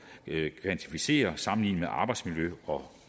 at kvantificere sammenlignet med arbejdsmiljø og